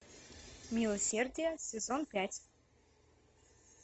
милосердие сезон пять